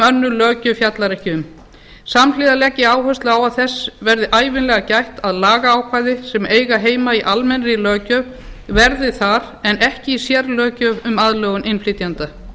önnur löggjöf fjallar ekki um samhliða legg ég áherslu á að þess verði ævinlega gætt að lagaákvæði sem eiga heima í almennri löggjöf verði þar en ekki í sérlöggjöf um aðlögun innflytjenda